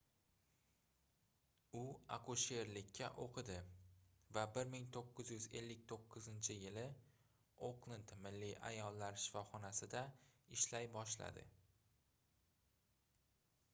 u akusherlikka oʻqidi va 1959-yili oklend milliy ayollar shifoxonasida ishlay boshladi